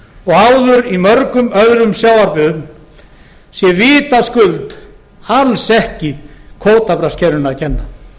og áður í mörgum öðrum sjávarbyggðum sé vitaskuld alls ekki kvótabraskskerfinu að kenna